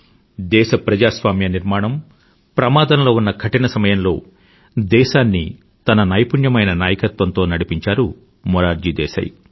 దేశ ప్రజాస్వామ్య నిర్మాణం ప్రమాదంలో ఉన్న కఠిన సమయంలో దేశాన్ని తన నైపుణ్యమైన నాయకత్వంతో నడిపించారు మొరార్జీ దేశాయ్